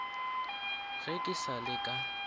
ge ke sa le ka